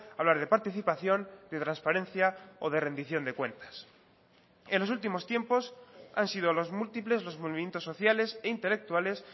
hablar de participación de transparencia o de rendición de cuentas en los últimos tiempos han sido los múltiples los movimientos sociales e intelectuales